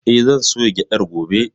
Eh, zan soya gyaɗar gobe.